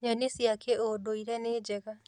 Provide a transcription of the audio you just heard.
Nyeni cia kĩndũire nĩ njega